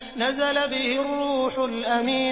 نَزَلَ بِهِ الرُّوحُ الْأَمِينُ